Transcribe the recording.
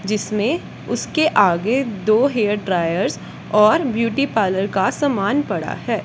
जिसमें उसके आगे दो हेयर ड्रायर्स और ब्यूटी पार्लर का सामान पड़ा है।